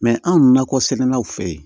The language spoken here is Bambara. anw nakɔ sɛnɛlaw fe yen